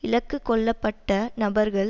இலக்கு கொள்ளப்பட்ட நபர்கள்